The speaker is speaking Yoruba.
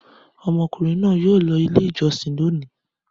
Ọmọkùnrin náà yóò lọ Ilé-ìjọsìn lónìí!